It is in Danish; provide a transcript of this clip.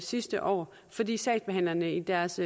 sidste år fordi sagsbehandlerne i deres